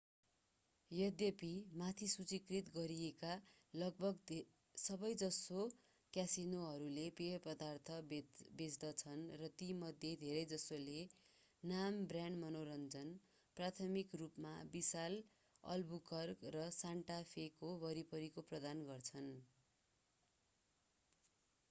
यद्यपि माथि सूचिकृत गरिएका लगभग सबैजसो क्यासिनोहरूले पेय पदार्थ बेच्दछन् र तीमध्ये धेरैजसोले नाम-ब्रान्ड मनोरञ्जन प्राथमिक रूपमा विशाल अल्बुकर्क र सान्टा फेको वरिपरिको प्रदान गर्छन्।